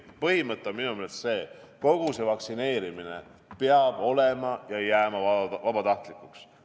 Põhimõte on minu meelest selline: kogu see vaktsineerimine peab olema vabatahtlik ja jääma vabatahtlikuks.